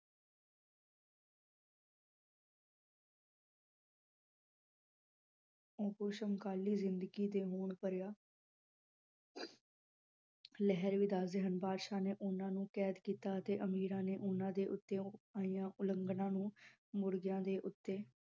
ਉਸ਼ਮ ਕਾਲੀ ਜਿੰਦਗੀ ਦੇ ਭਰਿਆ ਲਹਿਰ ਵੀ ਦਸਦੇ ਹਨ ਬਾਦਸ਼ਾਹ ਨੇ ਓਹਨਾ ਨੂੰ ਕੈਦ ਕੀਤਾ ਅਤੇ ਅਮੀਰਾਂ ਨੇ ਓਹਨਾ ਦੇ ਉੱਤੇ ਆਈਆਂ ਉਲੰਗਣਾ ਨੂੰ ਮੁਰਗਿਆਂ ਦੇ ਉੱਤੇ